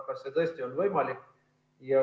Kas see tõesti on võimalik?